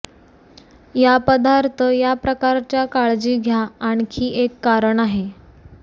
या पदार्थ या प्रकारच्या काळजी घ्या आणखी एक कारण आहे